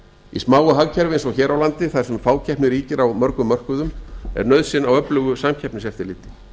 í smáu hagkerfi eins og hér á landi þar sem fákeppni ríkir á mörgum mörkuðum er nauðsyn á öflugu samkeppniseftirliti